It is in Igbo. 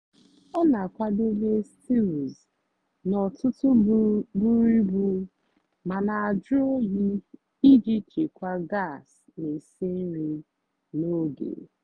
ọ́ nà-ákùwádóbè stíwùz n'ótụtụ́ bùrú íbù mà nà-àjụ́ óyìì ìjì chèkwáà gás nà-èsì nrì nà ógè.